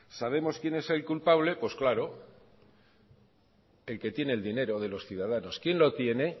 sabemos quién es el culpable pues claro el que tiene el dinero de los ciudadanos quién lo tiene